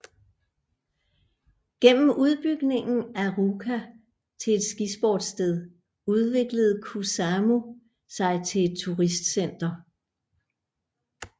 Gennem udbygningen af Ruka til et skisportssted udviklede Kuusamo sig til et turistcenter